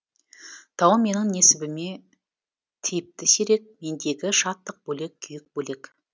тау менің несібіме тиіпті сирек мендегі шаттық бөлек күйік бөлек